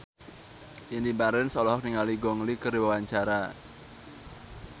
Indy Barens olohok ningali Gong Li keur diwawancara